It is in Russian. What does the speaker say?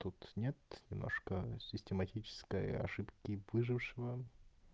тут нет немножко систематическая ошибки выжившего